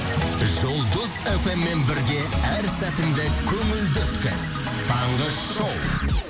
жұлдыз фм мен бірге әр сәтіңді көңілді өткіз таңғы шоу